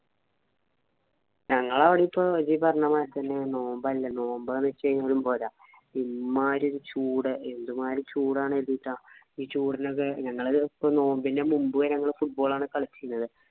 ഞങ്ങളവടെയും ഈ പറഞ്ഞമാരിത്തന്നെ നോമ്പല്ലേ. നോമ്പെന്ന് വെച്ചുകഴിഞ്ഞാലും പോരാ. ഇമ്മാരി ചൂട് എന്തുമാരി ചൂടാണ് കരുതീറ്റ. ഈ ചൂടിനൊക്കെ ഞങ്ങളത് നോമ്പിന്‍റെ മുമ്പ് വരെ ഞങ്ങള് football ആണ് കളിച്ചിരുന്നത്.